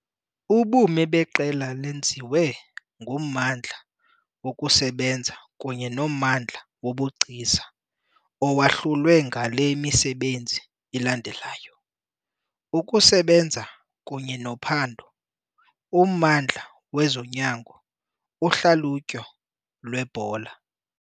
Ubume beQela lenziwe nguMmandla wokuSebenza kunye noMmandla woBugcisa, owahlulwe ngale misebenzi ilandelayo- Ukusebenza kunye nophando, uMmandla wezoNyango, uHlalutyo lweBhola.